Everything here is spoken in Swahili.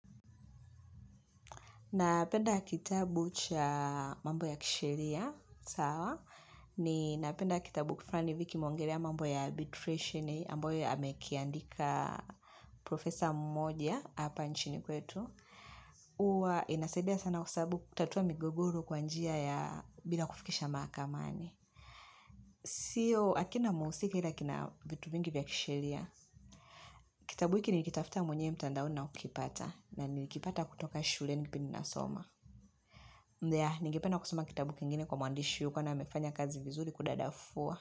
Napenda kitabu cha mambo ya kisheria, sawa, ni napenda kitabu kifrani ivi kimeongelea mambo ya arbitration amboya amekiandika Profesa mmoja hapa nchini kwetu. Huwa inasaidia sana kwa sabu kutatua migogoro kwa njia ya bila kufikisha mahakamani. Sio, akina muhusika ila kina vitu mingi vya kisheria, kitabu hiki nilikitafuta mwenye mtandaoni na kukipata, na nilikipata kutoka shuleni penye nasoma. Mdea, ningepena kusoma kitabu kingine kwa mwandishi huyu kwani amefanya kazi vizuri kudadafua.